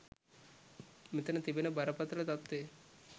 මෙතන තිබෙන බරපතළ තත්ත්වය.